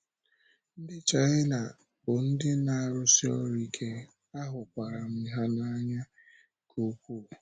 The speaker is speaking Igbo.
Ndị́ Chinà bụ ndị́ na-arụ́si ọrụ́ ike, ahụ́kwara m ha n’anyá nke ukwuu.